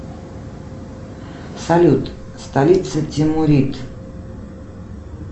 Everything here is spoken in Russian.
салют столица тимурит